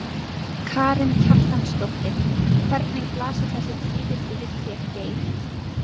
Karen Kjartansdóttir: Hvernig blasa þessi tíðindi við þér Geir?